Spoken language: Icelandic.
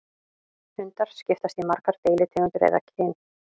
Hundar skiptast í margar deilitegundir eða kyn.